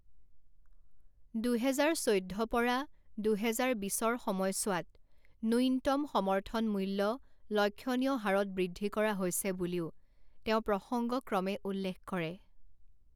দুহেজাৰ চৈধ্য পৰা দুহেজাৰ বিছৰ সময়চোৱাত ন্যূনতম সমৰ্থন মূল্য লক্ষ্যণীয় হাৰত বৃদ্ধি কৰা হৈছে বুলিও তেওঁ প্ৰসংগক্ৰমে উল্লেখ কৰে।